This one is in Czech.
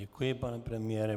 Děkuji, pane premiére.